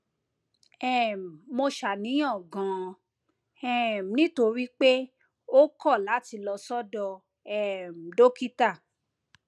um mo ṣàníyàn ganan um nítorí pé ó kọ láti lọ sọdọ um dókítà